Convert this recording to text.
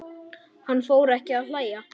Hann fór ekki að hlæja.